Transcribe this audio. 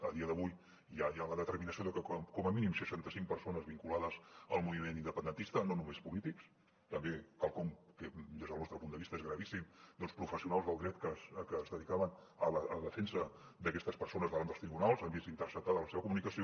a dia d’avui ja hi ha la determinació de que com a mínim seixanta cinc persones vinculades al moviment independentista no només polítics també quelcom que des del nostre punt de vista és gravíssim professionals del dret que es dedicaven a la defensa d’aquestes persones davant dels tribunals han vist interceptada la seva comunicació